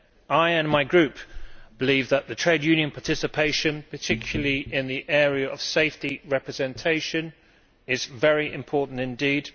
I and my group believe that the trade union participation, particularly in the area of safety representation, is very important indeed.